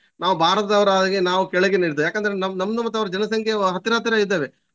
ನಾವು ಭಾರತದವರಾಗಿ ನಾವು ಕೆಳಗೇನೇ ಇರ್ತೇವೆ ಯಾಕಂತೇಳಿದ್ರೆ ನಮ್~ ನಮ್ದು ಮತ್ತೆ ಅವರದ್ದು ಜನಸಂಖ್ಯೆ ಹತ್ತಿರ ಹತ್ತಿರ ಇದ್ದೇವೆ.